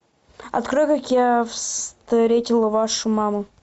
открой как я встретил вашу маму